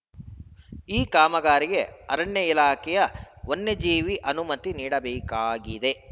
ಈ ಕಾಮಗಾರಿಗೆ ಅರಣ್ಯ ಇಲಾಖೆಯ ವನ್ಯಜೀವಿ ಅನುಮತಿ ನೀಡಬೇಕಾಗಿದೆ